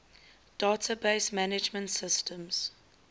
database management systems